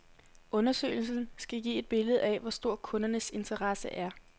Undersøgelsen skal give et billede af, hvor stor kundernes interesse er.